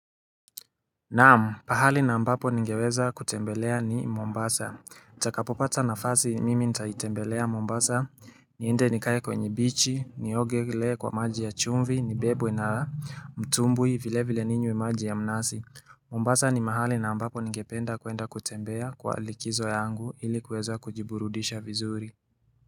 Naam, pahali na ambapo ningeweza kutembelea ni Mombasa. Nitakapopata nafasi mimi nitaitembelea Mombasa, niende nikae kwenye bichi, niogelee kwa maji ya chumvi, nibebwe na mtumbwi vile vile ninywe maji ya mnasi. Mombasa ni mahali na ambapo ningependa kwenda kutembea kwa likizo yangu ili kuweza kujiburudisha vizuri.